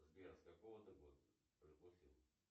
сбер с какого ты года